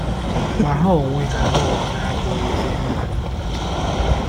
Ma ha onwe ha ha onwe ha abụghị ezi ịhụnanya maka Chineke.